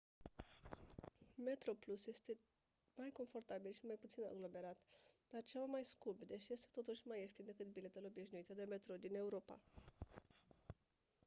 metroplus este mai confortabil și mai puțin aglomerat dar ceva mai scump deși este totuși mai ieftin decât biletele obișnuite de metrou din europa